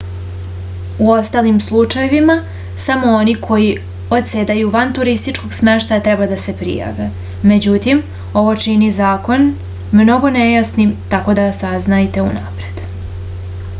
u ostalim slučajevima samo oni koji odsedaju van turističkog smeštaja treba da se prijave međutim ovo čini zakon mnogo nejasnijim tako da saznajte unapred